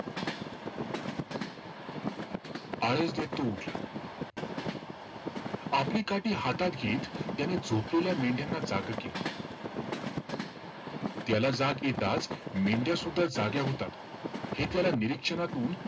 आळस देत तो उठला. आपली काठी हातात घेत त्याने झोपलेल्या मेंढ्याना जागं केलं. त्याला जाग येताचं मेंढ्यासुद्धा जाग्या होतात. हे त्याला निरीक्षणातून,